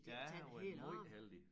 Ja jeg har været måj heldig